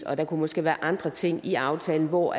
og der kunne måske være andre ting i aftalen hvor